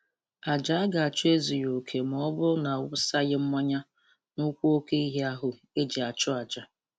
Ajà a ga-achụ ezughị oke ma ọ bụrụ na awụsaghi mmayị n'ụkwụ oke ehi ahụ e ji na-achụ aja